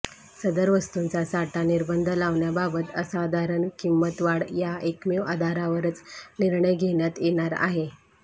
सदर वस्तूंचा साठा निर्बंध लावण्याबाबत असाधारण किंमतवाढ या एकमेव आधारावरच निर्णय घेण्यात येणार आहे